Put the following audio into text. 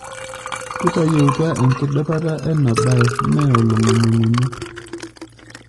Kitayieutua enkidipata ena baye mee olong'unying'unyi.